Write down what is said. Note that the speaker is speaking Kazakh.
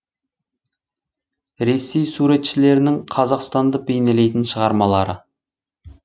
ресей суретшілерінің қазақстанды бейнелейтін шығармалары